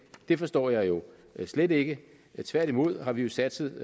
det forstår jeg jo slet ikke tværtimod har vi jo satset